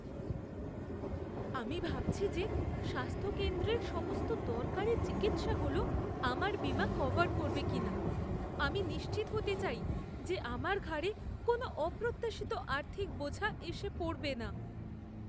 আমি ভাবছি যে স্বাস্থ্য কেন্দ্রের সমস্ত দরকারি চিকিৎসাগুলো আমার বীমা কভার করবে কিনা। আমি নিশ্চিত হতে চাই যে আমার ঘাড়ে কোনও অপ্রত্যাশিত আর্থিক বোঝা এসে পড়বে না।